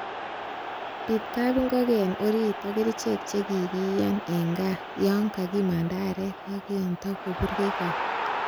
Biit kap ingogen orit, ak kerichek che kikiyaan en gaa yon kokimanda aarek ak yon tokopurgei got.